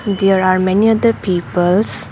There are many other peoples.